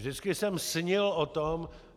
Vždycky jsem snil o tom...